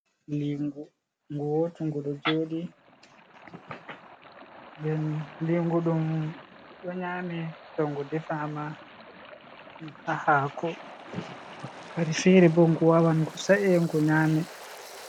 Lingu gowtu ɗu ɗo joɗi, den lingu ɗum ɗo nyame to ngu defama ha hako wakkati fere bo gu wawan gu sa’e ngu nyame.